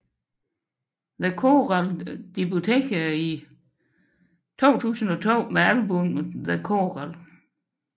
The Coral debuterede i 2002 med albummet The Coral